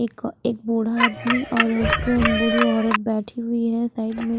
एक एक बूढ़ा आदमी और एक बूढ़ी औरत बैठी हुई है साइड में--